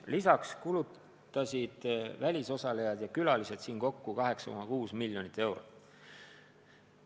Lisaks kulutasid välisosalejad ja külalised siin kokku 8,6 miljonit eurot.